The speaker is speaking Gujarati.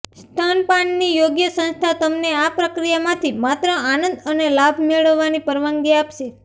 સ્તનપાનની યોગ્ય સંસ્થા તમને આ પ્રક્રિયામાંથી માત્ર આનંદ અને લાભ મેળવવાની પરવાનગી આપશે